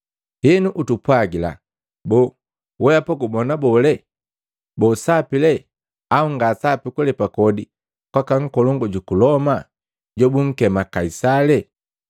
Henu utupwagila, boo weapa gubona bole? Boo sapi lee au nga sapi kulepa kodi kwaka nkolongu juku Loma jobunkema Kaisali?”